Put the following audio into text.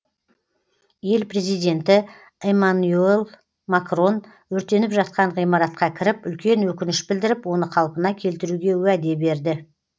ел президенті эмманюэль макрон өртеніп жатқан ғимаратқа кіріп үлкен өкініш білдіріп оны қалпына келтіруге уәде берді